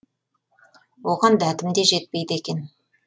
оған дәтім де жетпейді екен